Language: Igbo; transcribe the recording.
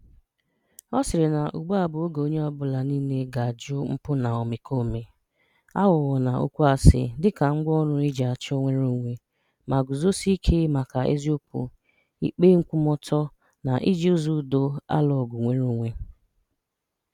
Ọ sịrị na ugbua bụ oge onye ọbụla niile ga-ajụ mpụ na omekome, aghụghọ na okwu asị dịka ngwaọrụ e ji achọ nnwereonwe, ma guzosie ike maka eziokwu, ikpe nkwụmọọtọ na iji ụzọ udo alụ ọgụ nnwereonwe.